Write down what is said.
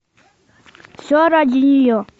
все ради нее